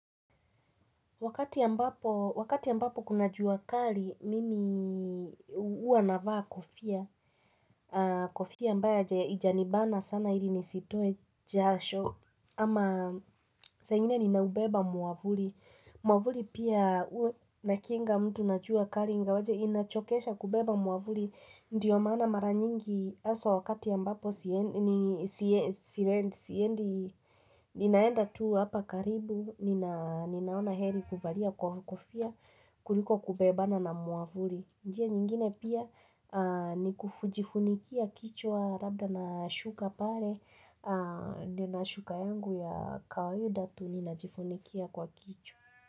Wakati ambapo, wakati ambapo kuna jua kali, mimi huwa navaa kufia, kofia ambayo haijanibana sana ili nisitoe jasho, ama saa ingine ninaubeba mwavuli, mwavuli pia inakinga mtu na jua kali, ingawaje inachokesha kubeba mwavuli, Ndiyo maana mara nyingi haswa wakati ambapo siendi ninaenda tu hapa karibu, ninaona heri kuvalia kwa kofia, kuliko kubebana na mwavuli. Njia nyingine pia ni kujifunikia kichwa labda na shuka pale, nina shuka yangu ya kawaida tu ninajifunikia kwa kichwa.